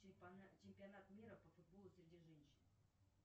чемпионат мира по футболу среди женщин